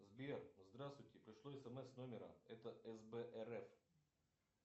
сбер здравствуйте пришло смс с номера это сб рф